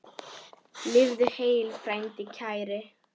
Lifðu heill, frændi kær!